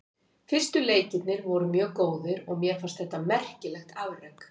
Fyrstu tíu leikirnir voru mjög góðir og mér fannst þetta merkilegt afrek.